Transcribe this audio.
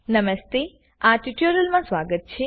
નમસ્તે આ ટ્યુટોરીયલમાં સ્વાગત છે